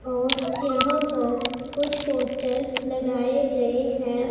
और यहां पर कुछ पोस्टर लगाए गए हैं।